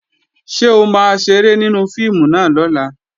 Ṣé o máa ṣeré nínú fíìmù náà lọ́la?